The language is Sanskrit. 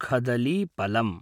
खदलीपलम्